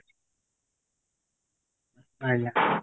ଆଜ୍ଞା